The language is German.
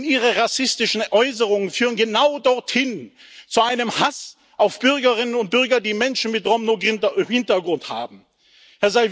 Denn Ihre rassistischen Äußerungen führen genau dorthin zu einem Hass auf Bürgerinnen und Bürger, die Menschen mit Romno Hintergrund sind.